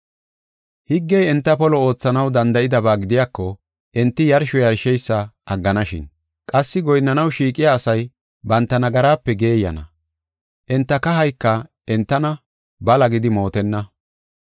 Higgey enta polo oothanaw danda7idaba gidiyako enti yarsho yarsheysa agganashin. Qassi goyinnanaw shiiqiya asay banta nagaraape geeyana; enta kahayka entana bala gidi mootenna.